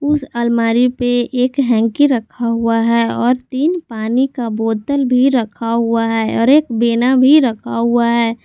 उस अलमारी पे एक हैंकी रखा हुआ है और तीन पानी का बोतल भी रखा हुआ है और एक बेना भी रखा हुआ है।